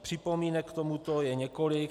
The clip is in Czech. Připomínek k tomuto je několik.